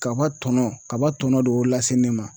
Kaba tɔnɔ kaba tɔnɔ de y'o lase ne ma